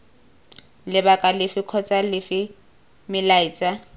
lebaka lefe kgotsa lefe melaetsa